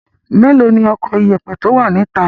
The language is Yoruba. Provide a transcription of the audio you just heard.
Mélòó ni ọkọ ìyẹ̀pẹ̀ tó wà níta?